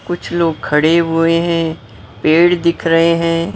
कुछ लोग खड़े हुए हैं पेड़ दिख रहे हैं।